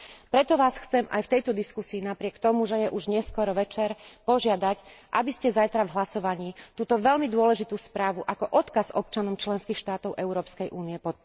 Preto vás chcem aj v tejto diskusii napriek tomu, že už je neskoro večer, požiadať, aby ste zajtra v hlasovaní túto veľmi dôležitú správu ako odkaz občanom členských štátov Európskej únie podporili.